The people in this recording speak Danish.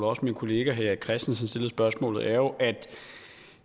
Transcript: også min kollega herre erik christensen stillede spørgsmålet er jo at